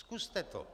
Zkuste to.